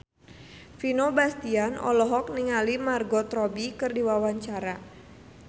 Vino Bastian olohok ningali Margot Robbie keur diwawancara